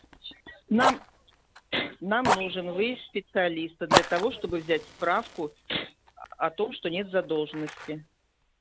нам нам нужен выезд специалиста для того чтобы взять справку аа о том что нет задолженности